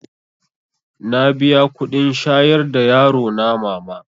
Na biya kuɗin shayar da yarona mama